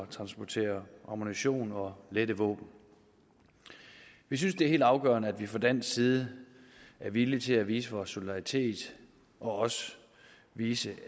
transportere ammunition og lette våben vi synes det er helt afgørende at vi fra dansk side er villige til at vise vores solidaritet og også vise